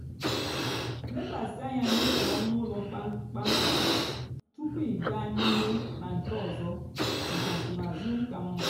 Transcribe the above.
lekwasị ányá n'ótú ónú úló kpamkpam túpú ịgá n'íhú nà nkè ọzọ mákà nsonaazụ kà mmá.